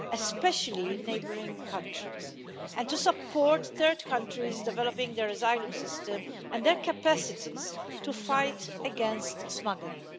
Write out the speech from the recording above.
especially in neighbouring countries, and in supporting third countries in developing their asylum system and their capacities to fight against smuggling.